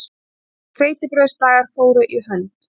Hveitibrauðsdagar fóru í hönd.